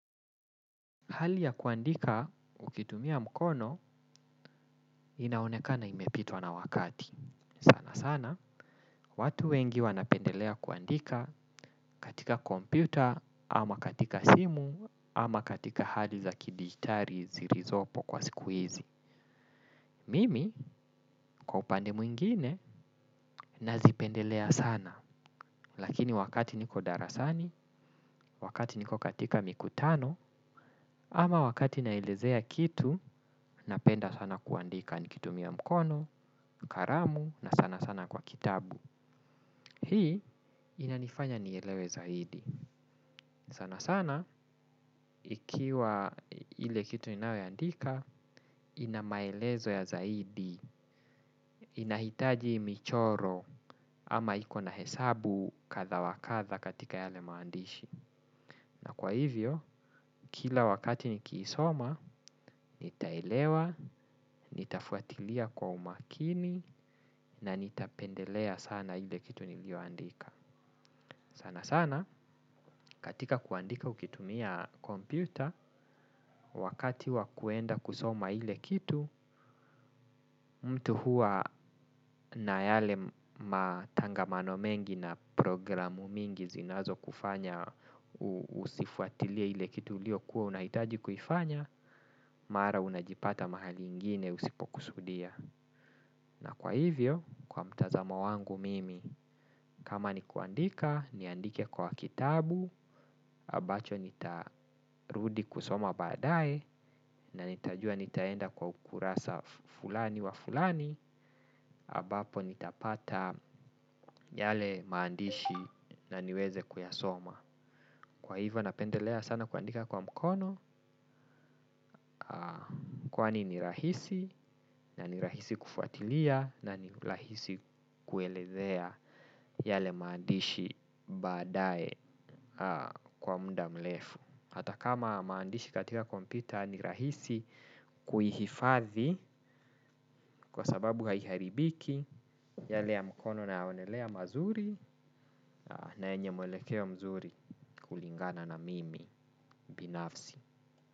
Hali ya kuandika ukitumia mkono, inaonekana imepitwa na wakati. Sana sana, watu wengi wanapendelea kuandika katika kompyuta, ama katika simu, ama katika hali za kidigitali zilizopo kwa siku hizi. Mimi, kwa upande mwingine, nazipendelea sana. Lakini wakati niko darasani, wakati niko katika mikutano, ama wakati naelezea kitu, napenda sana kuandika nikitumia mkono, kalamu na sana sana kwa kitabu. Hii inanifanya nielewe zaidi. Sana sana ikiwa ile kitu ninayo andika ina maelezo ya zaidi, inahitaji michoro ama ikona hesabu kadha wa kadha katika yale maandishi. Na kwa hivyo kila wakati nikiisoma nitaelewa, nitafuatilia kwa umakini na nitapendelea sana ile kitu niliyo andika sana sana katika kuandika ukitumia kompyuta wakati wa kuenda kusoma ile kitu mtu huwa na yale matangamano mengi na programu mingi zinazokufanya husifuatilie ile kitu uliyokuwa unahitaji kuifanya mara unajipata mahali ingine usipokusudia. Na kwa hivyo, kwa mtazamo wangu mimi, kama ni kuandika, niandike kwa kitabu, ambacho nitarudi kusoma baadaye, na nitajua nitaenda kwa ukurasa fulani wa fulani, ambapo nitapata yale maandishi na niweze kuyasoma. Kwa hivyo napendelea sana kuandika kwa mkono kwani ni rahisi na ni rahisi kufuatilia na ni rahisi kuelezea yale maandishi baadaye kwa muda mrefu. Hata kama maandishi katika kompyuta ni rahisi kuhifathi kwa sababu haiharibiki yale ya mkono nayaonelea mazuri na yenye mwelekeo mzuri kulingana na mimi binafsi.